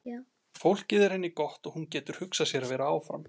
Fólkið er henni gott og hún getur hugsað sér að vera áfram.